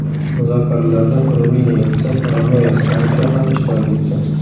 Muzokaralarda Ruminiya elchisi Romeo Stancho ham ishtirok etdi.